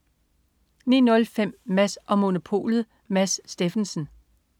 09.05 Mads & Monopolet. Mads Steffensen